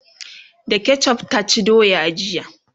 da ketchuf ta ci doya jiya